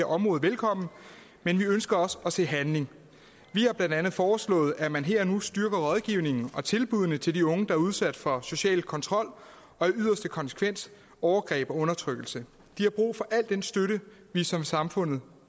område velkommen men vi ønsker også at se handling vi har blandt andet foreslået at man her og nu styrker rådgivningen og tilbuddene til de unge der er udsat for social kontrol og i yderste konsekvens overgreb og undertrykkelse de har brug for al den støtte vi som samfund